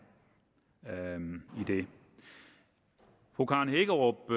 enige fru karen hækkerup